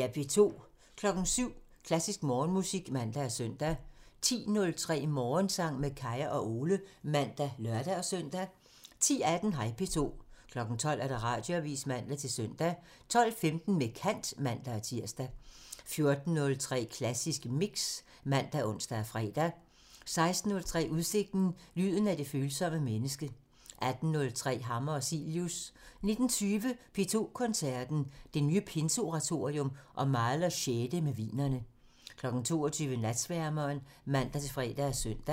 07:03: Klassisk Morgenmusik (man og søn) 10:03: Morgensang med Kaya og Ole (man og lør-søn) 10:18: Hej P2 12:00: Radioavisen (man-søn) 12:15: Med kant (man-tir) 14:03: Klassisk Mix (man og ons-fre) 16:03: Udsigten – Lyden af det følsomme menneske 18:03: Hammer og Cilius 19:20: P2 Koncerten – Det nye Pinseoratorium og Mahlers 6. med Wienerne 22:00: Natsværmeren (man-fre og søn)